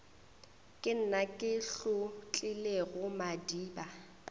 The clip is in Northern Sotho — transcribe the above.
ke nna ke hlotlilego madiba